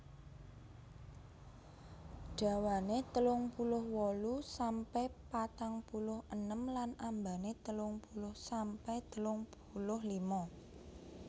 Dhawane telung puluh wolu sampe patang puluh enem lan ambane telung puluh sampe telung puluh lima